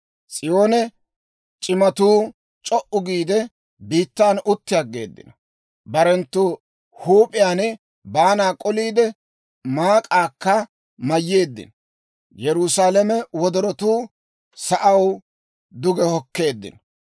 S'iyoon c'imatuu c'o"u giide, biittan utti aggeeddino; barenttu huup'iyaan baanaa k'oliide, maak'aakka mayyeeddino. Yerusaalame wodorotuu sa'aw duge hokkeeddino.